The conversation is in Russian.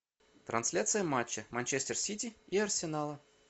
трансляция матча манчестер сити и арсенала